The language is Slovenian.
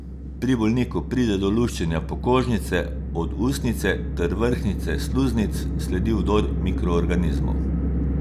Pri bolniku pride do luščenja pokožnice od usnjice ter vrhnjice sluznic, sledi vdor mikroorganizmov.